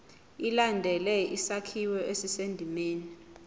ilandele isakhiwo esisendimeni